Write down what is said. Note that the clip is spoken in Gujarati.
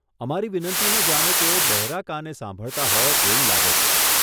અમારી વિનંતીને જાણે તેઓ બહેરા કાને સાંભળતા હોય એવું લાગે છે.